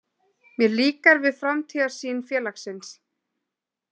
Mér líkar við framtíðarsýn félagsins.